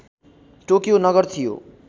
Tokyo नगर थियो